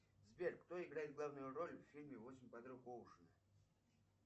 сбер кто играет главную роль в фильме восемь подруг оушена